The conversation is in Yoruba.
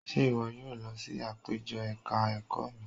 Ṣé ìwọ yóò lọ sí àpéjọ ẹ̀ka ẹ̀kọ́ mi?